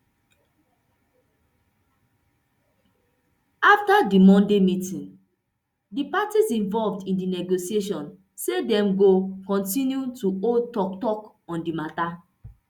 afta di monday meeting di parties involved in di negotiation say dem go kontinu to hold toktok on di mata